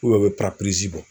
U be u be bɔ